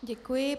Děkuji.